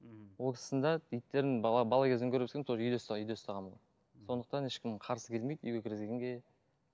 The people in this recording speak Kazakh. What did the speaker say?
мхм ол кісінің де иттерін бала бала кезімнен көріп өскенмін тоже үйде ұста үйде ұсағанын сондықтан ешкім қарсы келмейді үйге кіргізгенге